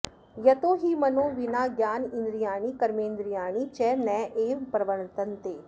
यतो हि मनो विना ज्ञानेन्द्रियाणि कर्मेन्द्रियाणि च नैव प्रवर्तन्ते